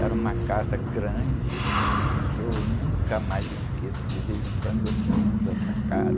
Era uma casa grande, que eu nunca mais esqueço, de vez em quando eu pinto essa casa.